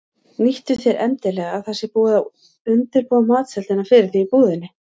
Nýttu þér endilega að það sé búið að undirbúa matseldina fyrir þig í búðinni.